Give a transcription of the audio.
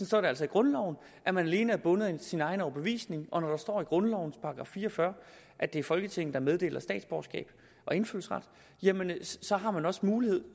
står altså i grundloven at man alene er bundet af sin egen overbevisning og når der står i grundlovens § fire og fyrre at det er folketinget der meddeler statsborgerskab og indfødsret så har man også mulighed